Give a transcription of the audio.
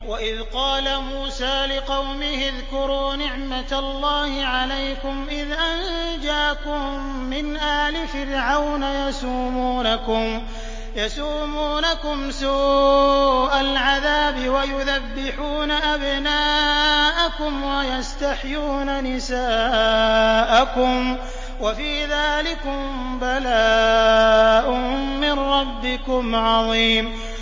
وَإِذْ قَالَ مُوسَىٰ لِقَوْمِهِ اذْكُرُوا نِعْمَةَ اللَّهِ عَلَيْكُمْ إِذْ أَنجَاكُم مِّنْ آلِ فِرْعَوْنَ يَسُومُونَكُمْ سُوءَ الْعَذَابِ وَيُذَبِّحُونَ أَبْنَاءَكُمْ وَيَسْتَحْيُونَ نِسَاءَكُمْ ۚ وَفِي ذَٰلِكُم بَلَاءٌ مِّن رَّبِّكُمْ عَظِيمٌ